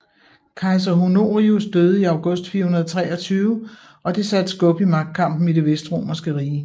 Kejser Honorius døde i august 423 og det satte skub i magtkampen i det vestromerske rige